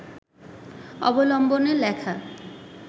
অবলম্বনে লেখা